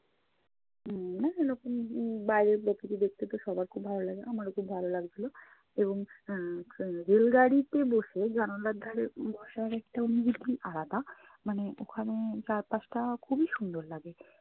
উম নতুন নতুন রকম বাইরের প্রকৃতি দেখতে তো সবার খুব ভালো লাগে, আমারও খুব ভালো লাগছিলো এবং আহ এর rail গাড়িতে বসে জানালার ধারে বসার একটা অনুভুতি আলাদা। মানে ওখানে চার পাশটা খুবই সুন্দর লাগে।